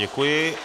Děkuji.